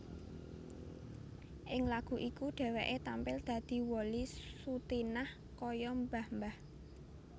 Ing lagu iku dhéwéké tampil dadi Wolly Sutinah kaya mbah mbah